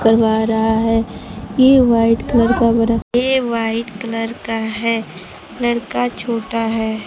करवा रहा है ये वाइट कलर का बड़ा ये वाइट कलर का है लड़का छोटा है।